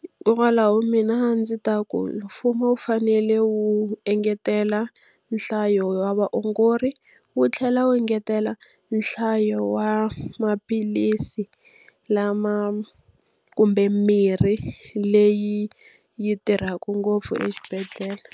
Hikwalaho mina a ndzi ta ku mfumo wu fanele wu engetela nhlayo ya vaongori, wu tlhela wu engetela nhlayo ya maphilisi lama kumbe mirhi leyi yi tirhaka ngopfu exibedhlele.